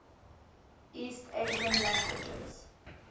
east asian languages